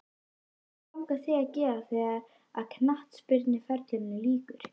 Hvað langar þig að gera þegar að knattspyrnuferlinum líkur?